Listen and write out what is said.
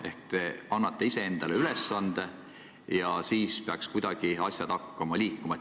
Ehk et te annate iseendale ülesande ja siis peaks asjad kuidagi liikuma hakkama.